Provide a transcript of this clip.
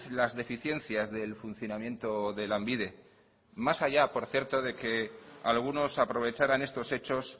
las deficiencias del funcionamiento de lanbide más allá por cierto de que algunos aprovecharan estos hechos